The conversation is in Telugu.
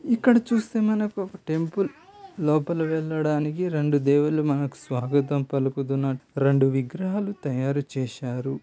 ఇక్కడ చూస్తే మనకు ఒక టెంపుల్ లోపల వెళ్లడానికి రెండు దేవుళ్ళు మనకు స్వాగతం పలుకుతున్నట్లు రెండు విగ్రహాలు తయారు చేశారు.